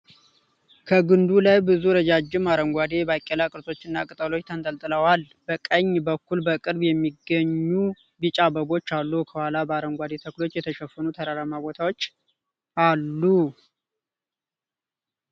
ከግንዱ ላይ ብዙ ረዣዥም አረንጓዴ የባቄላ ቅርጾችና ቅጠሎች ተንጠልጥለዋል። በቀኝ በኩል በቅርብ የሚገኙ ቢጫ አበቦች አሉ። ከኋላ በአረንጓዴ ተክሎች የተሸፈነ ተራራማ ቦታ አለ።